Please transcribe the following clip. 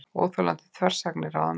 Óþolandi þversagnir ráðamanna